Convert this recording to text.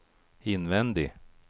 invändig